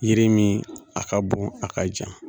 Yiri min a ka bon a ka jan